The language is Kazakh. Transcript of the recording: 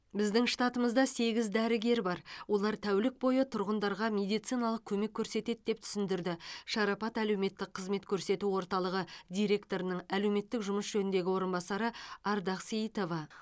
біздің штатымызда сегіз дәрігер бар олар тәулік бойы тұрғындарға медициналық көмек көрсетеді деп түсіндірді шарапат әлеуметтік қызмет көрсету орталығы директорының әлеуметтік жұмыс жөніндегі орынбасары ардақ сейітова